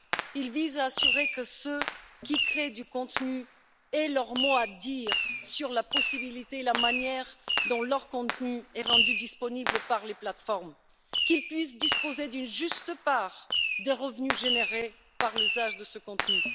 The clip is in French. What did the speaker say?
Il vise à assurer que ceux qui créent du contenu aient leur mot à dire sur la possibilité et la manière dont leur contenu est rendu disponible par les plateformes, et qu'ils puissent disposer d'une juste part des revenus générés par l'usage de ce contenu.